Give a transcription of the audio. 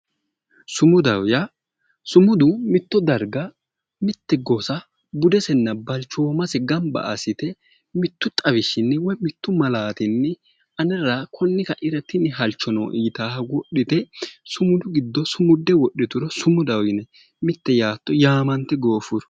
Sumudaho yaa. sumudu mitto darga mitte gosa budesenna balchoomase gamba assite mittu xawishshinni woyi malaatinni anera konni kaira tini halcho nooe yitaaha wodhite sumudu giddo sumude wodhituro sumuda yinanni, mitte yaatto yaamante gooffuo.